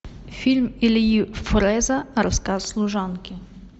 фильм ильи фрэза рассказ служанки